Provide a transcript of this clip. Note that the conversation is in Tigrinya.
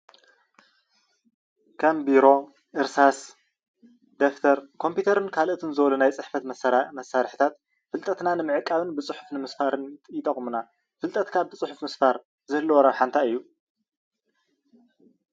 ከም ቢሮ እርሳስ ደፍተር ኮምፕዩተርን ካልኦትን ዝብሉ ናይ ፅሕፈት መሳርሒታት ፍልጠትና ንምዕቃብን ብፅሑፍ ንምስፋርን ይጠቕሙና ፍልጠትካ ብ ፅሑፍ ምስፋር ዝህልዎ ረብሓ እንታይ እዩ ?